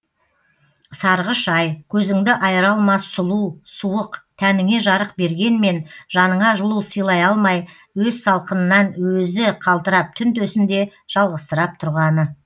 сарғыш ай көзіңді айыра алмас сұлу суық тәніңе жарық бергенмен жаныңа жылу сыйлай алмай өз салқынынан өзі қалтырап түн төсінде жалғызсырап тұрғаны